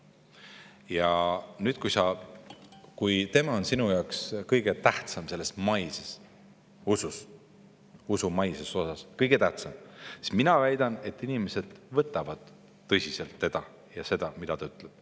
Ja nüüd, mina väidan, et kui tema on inimeste jaoks selles maises usus, usu maises osas kõige tähtsam, siis inimesed võtavad tõsiselt teda ja seda, mida ta ütleb.